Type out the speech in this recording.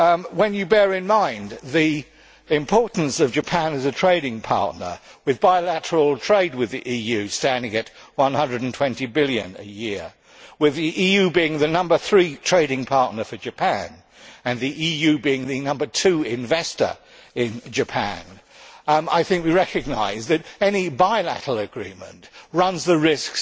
When we bear in mind the importance of Japan as a trading partner with bilateral trade with the EU standing at EUR 120 billion a year, and with the EU being the number three trading partner for Japan and the number two investor in Japan I think we recognise that any bilateral agreement runs the risk